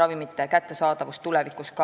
ravimite kättesaadavuse ka tulevikus.